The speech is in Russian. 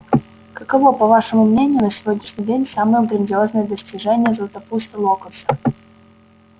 каково по вашему мнению на сегодняшний день самое грандиозное достижение златопуста локонса